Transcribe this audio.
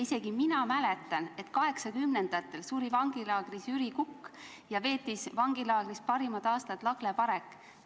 Isegi mina mäletan, et 1980-ndatel suri vangilaagris Jüri Kukk ja vangilaagris pidi oma elu parimad aastad veetma Lagle Parek.